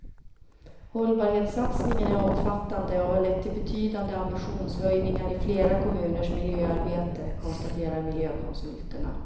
Hållbarhetssatsningen är omfattande och har lett till betydande ambitionshöjningar i flera kommuners miljöarbete, konstaterar miljökonsulterna.